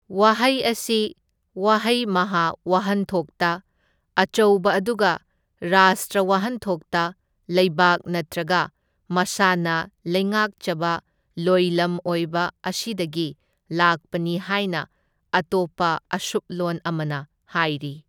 ꯋꯥꯍꯩ ꯑꯁꯤ ꯋꯍꯩ ꯃꯍꯥ ꯋꯥꯍꯟꯊꯣꯛꯇ ꯑꯆꯧꯕ ꯑꯗꯨꯒ ꯔꯥꯁꯇ꯭ꯔ ꯋꯥꯍꯟꯊꯣꯛꯇ ꯂꯩꯕꯥꯛ ꯅꯠꯇ꯭ꯔꯒ ꯃꯁꯥꯅ ꯂꯩꯉꯥꯛꯆꯕ ꯂꯣꯏꯂꯝ ꯑꯣꯏꯕ ꯑꯁꯤꯗꯒꯤ ꯂꯥꯛꯄꯅꯤ ꯍꯥꯏꯅ ꯑꯇꯣꯞꯄ ꯑꯁꯨꯞꯂꯣꯟ ꯑꯃꯅ ꯍꯥꯏꯔꯤ꯫